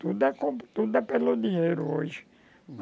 Tudo é com tudo é pelo dinheiro hoje.